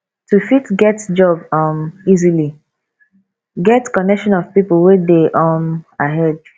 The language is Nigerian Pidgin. to fit get job um easily get connection of pipo wey de um ahead